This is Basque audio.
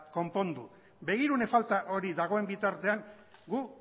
konpondu begirune falta hori dagoen bitartean guk